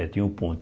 É, tinha um ponto.